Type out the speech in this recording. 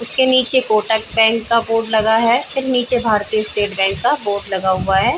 इसके नीचे कोटक बैंक का बोर्ड लगा है फिर नीचे भारतीय स्टेट बैंक का बोर्ड लगा हुआ है ।